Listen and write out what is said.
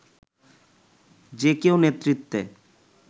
যে কেউ নেতৃত্বে